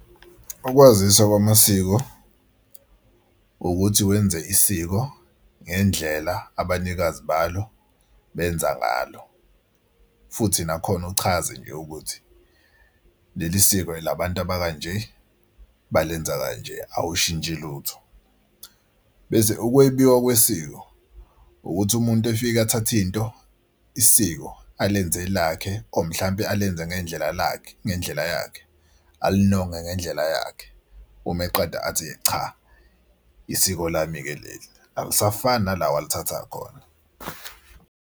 Ukwazisa kwamasiko ukuthi wenze isiko ngendlela abanikazi balo benza ngalo futhi nakhona uchaze nje ukuthi leli siko elabantu abanje balenza kanje awushintshi lutho. Bese ukwebiwa kwesiko ukuthi umuntu efika athathe into isiko alenze elakhe or mhlampe alenze ngendlela lakhe ngendlela yakhe alinonge ngendlela yakhe. Uma eqeda athi cha isiko lami-ke leli. Akusafani nala alithatha khona.